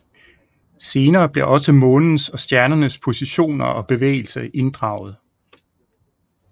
Senere blev også månens og stjernernes positioner og bevægelser inddraget